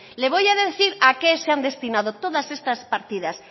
le voy a decir a qué se han destinado todas esas partidas